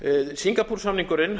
singapúr samningurinn